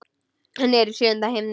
Svenni er í sjöunda himni.